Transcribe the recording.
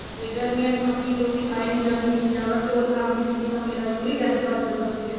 ਤੇ ਗਰਮੀਆਂ ਚ ਮੱਕੀ ਦੀ ਰੋਟੀ ਖਾਈ ਨੀ ਜਾਂਦੀ ਜਿਆਦਾ ਚੋਲ ਖਾਂਦੀ ਸੀ ਤਾਂ ਮੇਰਾ uric acid ਵਧ ਜਾਂਦਾ ਸੀ